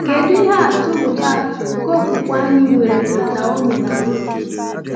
Kedu ihe atụ nke atụ nke okwukwe anyị nwere na Naomi na Ruth?